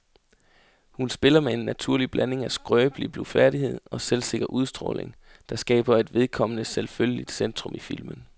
Hun spiller med en naturlig blanding af skrøbelig blufærdighed og selvsikker udstråling, der skaber et vedkommende selvfølgeligt centrum i filmen.